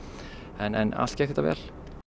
en allt gekk þetta vel